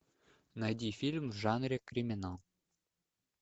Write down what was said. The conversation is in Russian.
найди фильм в жанре криминал